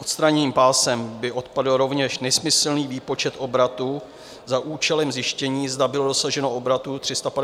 Odstraněním pásem by odpadl rovněž nesmyslný výpočet obratu za účelem zjištění, zda bylo dosaženo obratu 350 milionů euro.